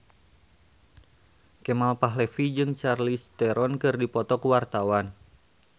Kemal Palevi jeung Charlize Theron keur dipoto ku wartawan